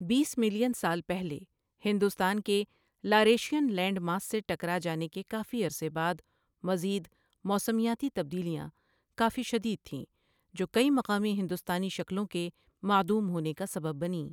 بیس million سال پہلے، ہندوستان کے لاریشین لینڈ ماس سے ٹکرا جانے کے کافی عرصے بعد، مزید موسمیاتی تبدیلیاں کافی شدید تھیں جو کئی مقامی ہندوستانی شکلوں کے معدوم ہونے کا سبب بنیں۔